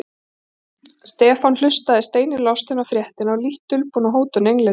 Stefán hlustaði steini lostinn á fréttina og lítt dulbúna hótun Englendinga.